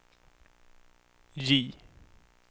J